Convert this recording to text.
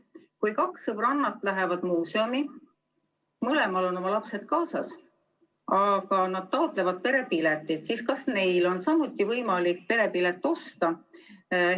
Kui kaks sõbrannat lähevad muuseumi, mõlemal on oma lapsed kaasas, aga nad taotlevad perepiletit, siis kas neil on samuti võimalik perepiletit osta?